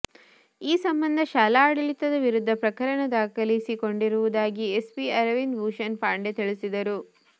ಈ ಸಂಬಂಧ ಶಾಲಾಡಳಿತದ ವಿರುದ್ಧ ಪ್ರಕರಣ ದಾಖಲಿಸಿಕೊಂಡಿರುವುದಾಗಿ ಎಸ್ಪಿ ಅರವಿಂದ ಭೂಷಣ್ ಪಾಂಡೆ ತಿಳಿಸಿದರು